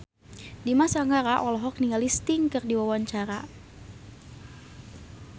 Dimas Anggara olohok ningali Sting keur diwawancara